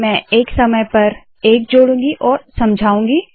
मैं एक समय पर एक जोडूंगी और समझाउंगी